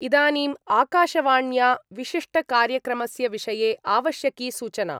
इदानीम् आकाशवाण्या विशिष्टकार्यक्रमस्य विषये आवश्यकी सूचना।